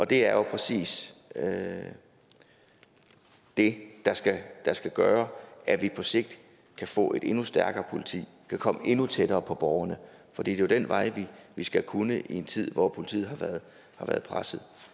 det er jo præcis det det der skal gøre at vi på sigt kan få et endnu stærkere politi kan komme endnu tættere på borgerne for det er jo den vej vi skal kunne gå i en tid hvor politiet har været presset